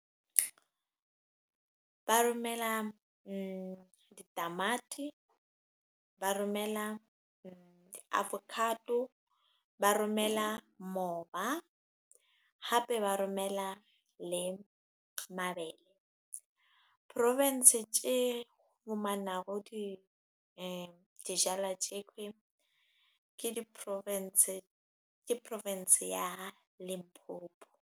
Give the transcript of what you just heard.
Ba romela ditamati, ba romela di-avocado, ba romela mmoba, hape ba romela le mabele. Province tje humanaho dijalo tje ki, ke Province ya Limpopo.